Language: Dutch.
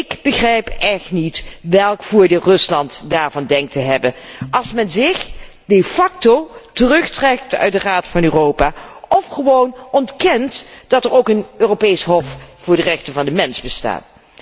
Ik begrijp echt niet welk voordeel Rusland daarvan denkt te hebben als men zich de facto terugtrekt uit de Raad van Europa of gewoon ontkent dat er ook een Europees Hof voor de rechten van de mens bestaat.